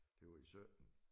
Det var i 17